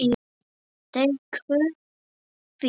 Teygðu þig.